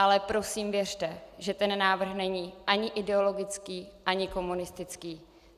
Ale prosím věřte, že ten návrh není ani ideologický, ani komunistický.